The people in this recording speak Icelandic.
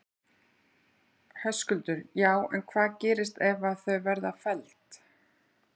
Höskuldur: Já en hvað gerist ef að þau verða felld?